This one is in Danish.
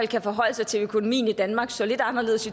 kan forholde sig til at økonomien i danmark så lidt anderledes